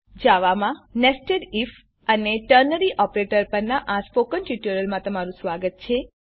જાવામાં nested IF અને ternary operator પરનાં સ્પોકન ટ્યુટોરીયલમાં સ્વાગત છે